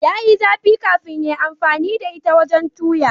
Ya yi zafi kafin ya amfani da ita wajen toya.